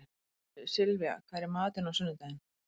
Sylvía, hvað er í matinn á sunnudaginn?